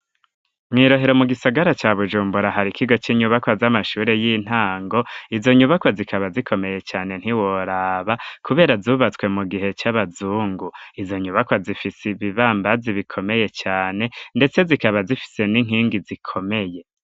Mw'i Rohero, mu gisagara ca Bujumbura, hari ikigo, c'inyubakwa z'amashure y'intango; izo nyubakwa, zikaba zikomeye cane, ntiworaba; kubera, zubatswe mu gihe c'abazungu; izo nyubakwa, zifise ibibambazi, bikomeye cane, ndetse zikaba, zifise n'inkingi, zikomeye.